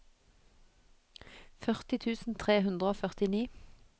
førti tusen tre hundre og førtini